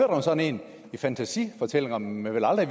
om sådan en i fantasifortællinger man vel aldrig